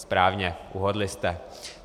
Správně, uhodli jste.